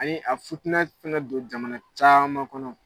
Ani a ye futina caman don jamana caman kɔnɔ